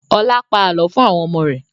Ọlá pa àálọ́ fún àwọn ọmọ rẹ̀